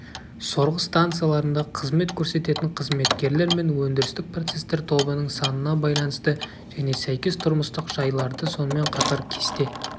сорғы станцияларында қызмет көрсететін қызметкерлер мен өндірістік процесстер тобының санына байланысты және сәйкес тұрмыстық жайларды сонымен қатар кесте